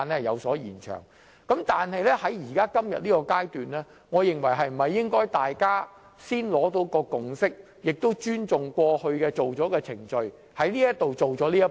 然而，今天在這個階段，我認為大家應先取得共識及尊重過往的既定程序，先完成這一步。